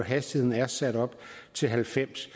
hastigheden er sat op til halvfems